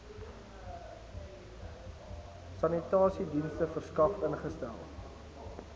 sanitasiedienste verskaf ingestel